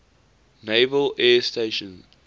naval air station